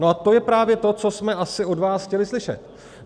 No a to je právě to, co jsme právě od vás chtěli slyšet.